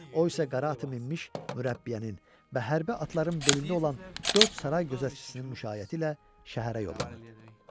O isə qara atı minmiş mürəbbiyənin və hərbi atların belində olan dörd saray gözətçisinin müşaiyəti ilə şəhərə yollanırdı.